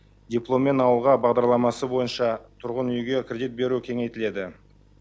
дипломмен ауылға бағдарламасы бойынша тұрғын үйге кредит беру кеңейтіледі